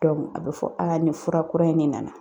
a bɛ fɔ nin fura kura in ne nana.